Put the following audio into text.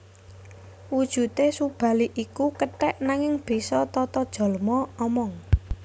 Wujudé Subali iku kethèk nanging bisa tatajalma omong